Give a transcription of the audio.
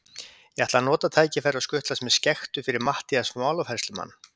Ég ætlaði að nota tækifærið og skutlast með skektu fyrir Matthías málafærslumann.